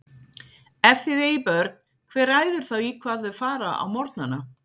Ef þið eigið börn, hver ræður þá í hvað þau fara á morgnana?